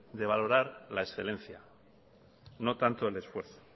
de valorar la excelencia no tanto el esfuerzo